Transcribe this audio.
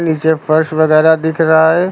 नीचे फर्श वगैरा दिख रहा है।